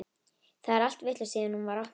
Það er allt vitlaust síðan hún var opnuð.